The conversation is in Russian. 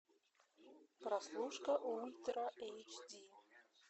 прослушка ультра эйч ди